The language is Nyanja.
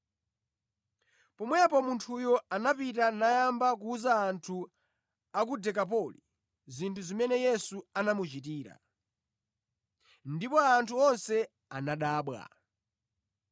Pomwepo munthuyo anapita nayamba kuwuza anthu a ku Dekapoli zinthu zimene Yesu anamuchitira. Ndipo anthu onse anadabwa.